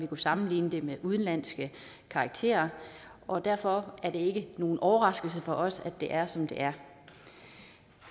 kunne sammenligne med udenlandske karakterer og derfor er det ikke nogen overraskelse for os at det er som det er